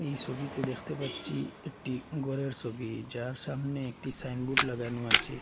এই ছবিতে দেখতে পাচ্ছি একটি ঘরের ছবি যার সামনে একটি সাইনবোর্ড লাগানো আছে।